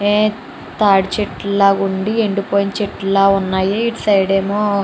ఏం తాడిచెట్లు లాగా ఉండి ఎండిపోయిన చెట్లు లాగా ఉన్నాయి. ఇటు సైడ్ ఏమో --